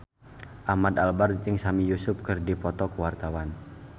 Ahmad Albar jeung Sami Yusuf keur dipoto ku wartawan